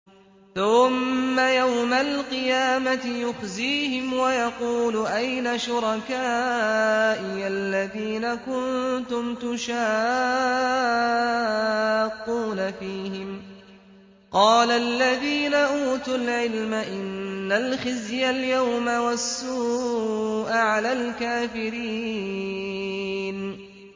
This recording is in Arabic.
ثُمَّ يَوْمَ الْقِيَامَةِ يُخْزِيهِمْ وَيَقُولُ أَيْنَ شُرَكَائِيَ الَّذِينَ كُنتُمْ تُشَاقُّونَ فِيهِمْ ۚ قَالَ الَّذِينَ أُوتُوا الْعِلْمَ إِنَّ الْخِزْيَ الْيَوْمَ وَالسُّوءَ عَلَى الْكَافِرِينَ